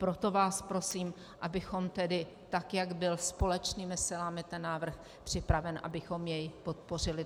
Proto vás prosím, abychom tedy tak, jak byl společnými silami ten návrh připraven, abychom jej podpořili.